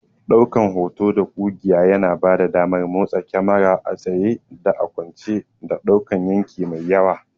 Ɗaukan hoto da ƙugiya yana bada damar motsa kyamara a tsaye da a kwance, da ɗaukan yanki mai yawa.